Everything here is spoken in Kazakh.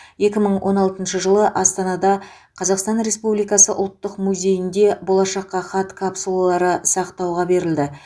екі мың он алтыншы жылы астанада қазақстан республикасы ұлттық музейінде болашаққа хат капсулалары сақтауға берілді